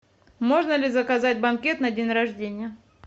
можно ли заказать банкет на день рождения